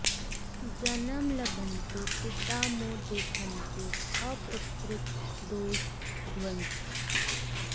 जनम लभन्ते पिता मो देखन्ते अपुत्रीक दोष ध्वंसी